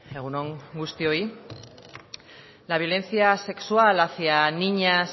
egun on guztioi la violencia sexual hacía niñas